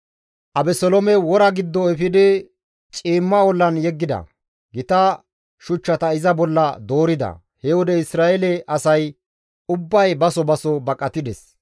Abeseloome wora giddo efidi ciimma ollan yeggida; gita shuchchata iza bolla doorida. He wode Isra7eele asay ubbay baso baso baqatides.